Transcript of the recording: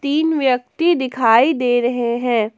तीन व्यक्ति दिखाई दे रहे हैं।